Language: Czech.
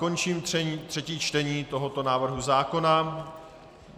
Končím třetí čtení tohoto návrhu zákona.